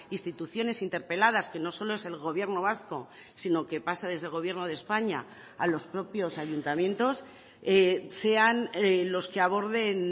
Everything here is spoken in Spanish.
instituciones interpeladas que no solo es el gobierno vasco sino que pasa desde el gobierno de españa a los propios ayuntamientos sean los que aborden